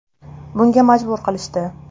Bunga majbur qilishdi.